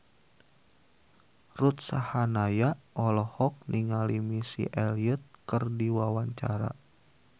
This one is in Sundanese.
Ruth Sahanaya olohok ningali Missy Elliott keur diwawancara